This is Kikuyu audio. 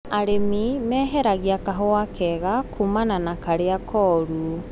Arĩmi maheragia kahũa kega kumana nakarĩa koru.